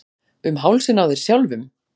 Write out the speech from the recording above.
Um hálsinn á þér sjálfum!